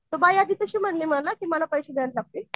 तर बाई आधी कशी म्हणली मला आधी पैसे द्यायला लागतील.